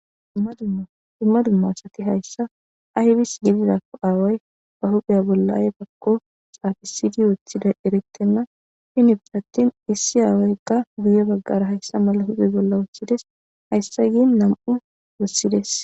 Dumma dumma Asat haysa aybis gelidako aaway ba huphiya bolla aybako xaxisid wothidaysa eretena , gidoppe atin issi aawayka guye bagara Haysa mala huphe bolla wothides.haysay gin nam'u wothides.